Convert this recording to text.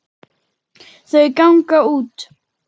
Þau ganga út.